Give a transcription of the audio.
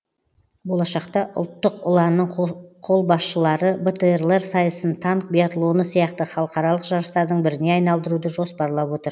болашақта ұлттық ұланның қолбасшылары бтр лер сайысын танк биатлоны сияқты халықаралық жарыстардың біріне айналдыруды жоспарлап отыр